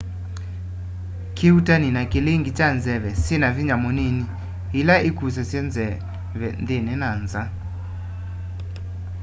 kĩuutani ni kilinge cha nzeve nyina vinya mũnini ila ikusasya nzeve nthini na iũlu